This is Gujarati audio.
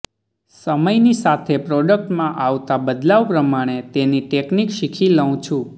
સમયની સાથે પ્રોડક્ટમાં આવતાં બદલાવ પ્રમાણે તેની ટેકનિક શીખી લઉં છું